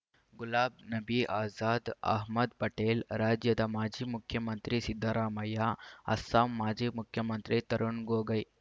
ಗುಲಾಬ್ ನಬೀ ಆಜಾದ್ ಅಹ್ಮದ್ ಪಟೇಲ್ ರಾಜ್ಯದ ಮಾಜಿ ಮುಖ್ಯಮಂತ್ರಿ ಸಿದ್ದರಾಮಯ್ಯ ಅಸ್ಸಾಂ ಮಾಜಿ ಮುಖ್ಯಮಂತ್ರಿ ತರುಣ್ ಗೊಗೊಯ್